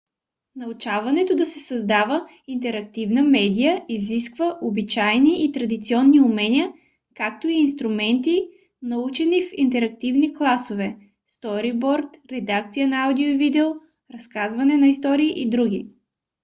научаването да се създава интерактивна медия изисква обичайни и традиционни умения както и инструменти научени в интерактивни класове сториборд редакция на аудио и видео разказване на истории и др.